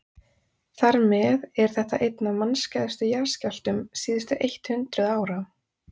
þar með er þetta einn af mannskæðustu jarðskjálftum síðustu eitt hundruð ára